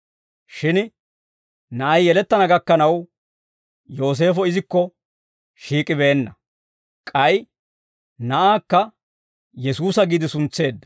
Shin na'ay yelettana gakkanaw Yooseefo izikko shiik'ibeenna; k'ay na'aakka Yesuusa giide suntseedda.